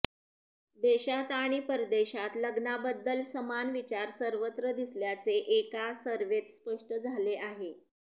देशात आणि परदेशात लग्नाबद्दल समान विचार सर्वत्र दिसल्याचे एका सर्व्हेत स्पष्ट झाले आहे